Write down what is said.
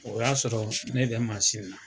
O y'a sɔrɔ ne bɛ mansin na,